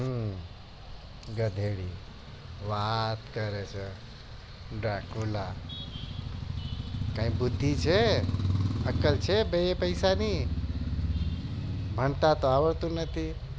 હમ ગધેડી વાત કરે છે જાકુલા કઈ બુધિ છે અક્કલ છે બી પૈસા ની હન્તાતા આવડતું નથી